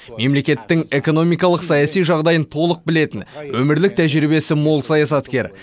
мемлекеттің экономикалық саяси жағдайын толық білетін өмірлік тәжірибесі мол саясаткер